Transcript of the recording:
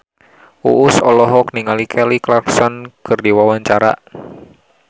Uus olohok ningali Kelly Clarkson keur diwawancara